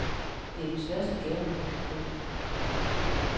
Det er den største gave, man kan få.